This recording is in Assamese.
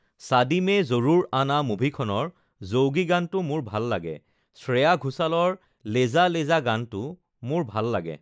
ছাদি মে জৰুৰ আনা মুভিখনৰ জৌগি গানটো মোৰ ভাল লাগে, শ্ৰেয়া ঘোছলৰ লেজা লেজা গানটো মোৰ ভাল লাগে